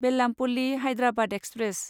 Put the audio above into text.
Bellampalli Hyderabad express